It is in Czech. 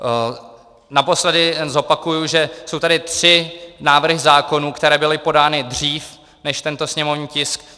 Naposledy zopakuji, že jsou tady tři návrhy zákonů, které byly podány dřív než tento sněmovní tisk.